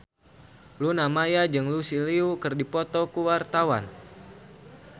Luna Maya jeung Lucy Liu keur dipoto ku wartawan